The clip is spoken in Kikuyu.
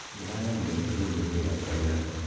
ndĩragethire gĩtũngũrũ gĩakwa ira